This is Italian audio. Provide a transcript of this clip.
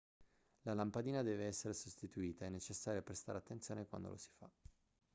la lampadina deve essere sostituita è necessario prestare attenzione quando lo si fa